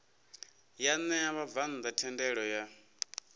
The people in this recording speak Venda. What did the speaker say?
ya ṋea vhabvann ḓa thendelo